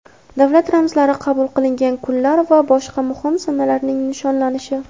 davlat ramzlari qabul qilingan kunlar va boshqa muhim sanalarning nishonlanishi.